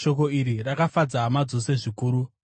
Shoko iri rakafadza hama dzose zvikuru.